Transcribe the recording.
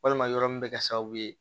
Walima yɔrɔ min bɛ kɛ sababu ye